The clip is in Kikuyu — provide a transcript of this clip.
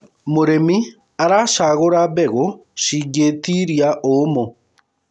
mũrĩmi aracagura mbegũ cingiitiria uumu